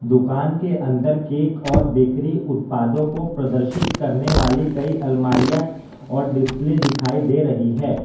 दुकान के अंदर केक और बेकरी उत्पादों को प्रदर्शित करने वाली कई अलमारियां और डिस्प्ले दिखाई दे रही है।